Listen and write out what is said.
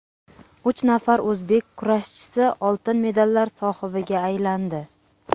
Uch nafar o‘zbek kurashchisi oltin medallar sohibiga aylandi.